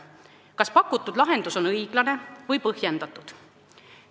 Kas pakutud lahendus on õiglane või põhjendatud?